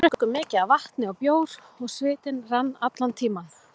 Við drukkum mikið af vatni og bjór og svitinn rann allan tímann.